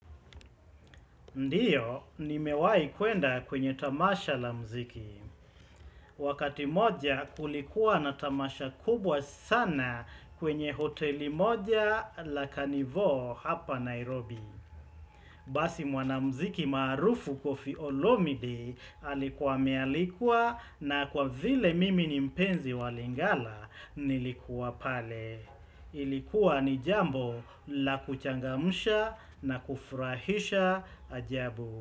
Ndio, nimewahi kuenda kwenye tamasha la muziki. Wakati moja kulikuwa na tamasha kubwa sana kwenye hoteli moja la canivoo hapa Nairobi. Basi mwanamziki maarufu kofi olomidi alikuwa amealikwa na kwa vile mimi ni mpenzi wa lingala nilikuwa pale. Ilikuwa ni jambo la kuchangamsha na kufurahisha ajabu.